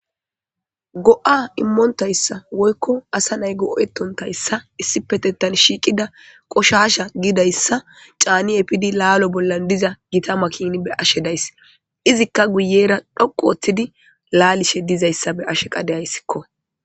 go7a immontayssa woykko asa nay go7etontayssa issipetettan shiiqida qoshasha giidayssa caani epidi laalo bollan diza gita makini be ashe days izikka guyera dhoqu oooththidi laalishe dizayssa be ashe qadeyayssikko